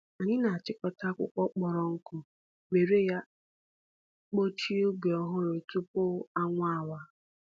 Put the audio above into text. Anyị na-achịkọta akwụkwọ kpọrọ nkụ were ya kpuchie ubi ọhụrụ tupu anwụ awa.